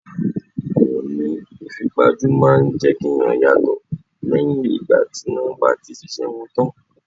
Àwọn oní ìfipajú máa ń jẹ́ kí ẹ̀yàn yàtò lẹ́yìn ìgbà tí wón bá ti ṣe iṣẹ́ wọn tán.